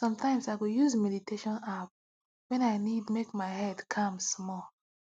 sometimes i go use meditation app when i need make my head calm small